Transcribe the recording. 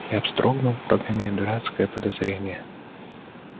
я вздрогнул прогоняя дурацкое подозрение